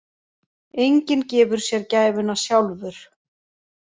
Enginn gefur sér gæfuna sjálfur.